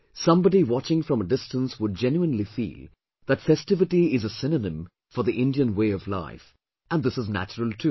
Somebody watching from a distance would genuinely feel that festivity is a synonym for the Indian way of life, and this is natural too